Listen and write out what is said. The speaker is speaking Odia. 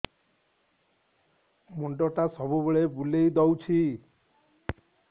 ମୁଣ୍ଡଟା ସବୁବେଳେ ବୁଲେଇ ଦଉଛି